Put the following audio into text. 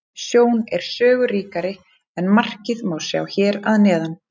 Sjón er sögu ríkari en markið má sjá hér að neðan.